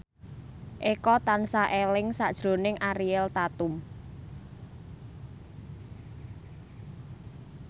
Eko tansah eling sakjroning Ariel Tatum